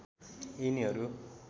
यिनीहरू